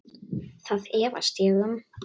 Það efast ég um.